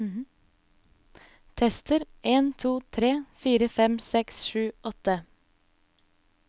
Tester en to tre fire fem seks sju åtte